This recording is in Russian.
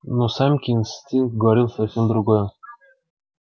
но самке инстинкт говорил совсем другое